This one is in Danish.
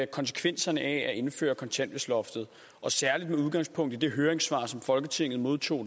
konsekvenserne af at indføre kontanthjælpsloftet og særligt med udgangspunkt i det høringssvar som folketinget modtog